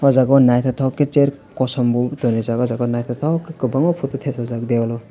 aw jaga nythoktoke ke chair kosom o tonrijak nythoktoke ke kwbanga photo tepajak dewal o.